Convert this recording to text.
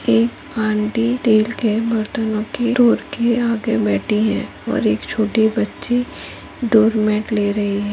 एक aunty steel के बर्तनो के स्टोर के आगे बैठी हैं और एक छोटी बच्ची डोरमेट ले रही है।